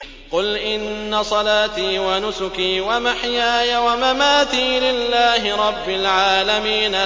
قُلْ إِنَّ صَلَاتِي وَنُسُكِي وَمَحْيَايَ وَمَمَاتِي لِلَّهِ رَبِّ الْعَالَمِينَ